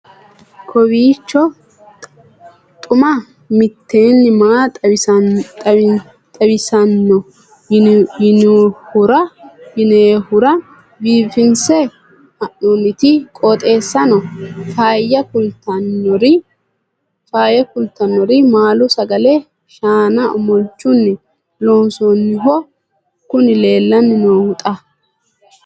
kowiicho xuma mtini maa xawissanno yaannohura biifinse haa'noonniti qooxeessano faayya kultannori maalu sagale shaana omolchunni loonsoonniho kuni leellanni noohu xa